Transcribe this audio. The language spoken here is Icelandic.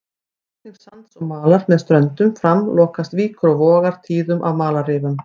Við flutning sands og malar með ströndum fram lokast víkur og vogar tíðum af malarrifum.